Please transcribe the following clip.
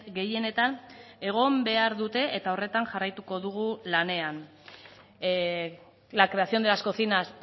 gehienetan egon behar dute eta horretan jarraituko dugu lanean la creación de las cocinas